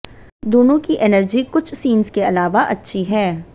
दोनों की एनर्जी कुछ सीन्स के अलावा अच्छी है